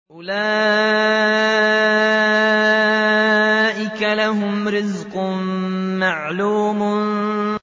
أُولَٰئِكَ لَهُمْ رِزْقٌ مَّعْلُومٌ